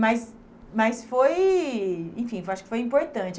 Mas mas foi... Enfim foi, acho que foi importante.